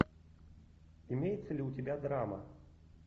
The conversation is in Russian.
имеется ли у тебя драма